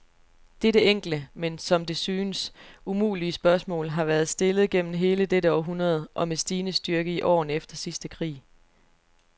Dette enkle, men som det synes, umulige spørgsmål, har været stillet gennem hele dette århundrede, og med stigende styrke i årene efter sidste krig.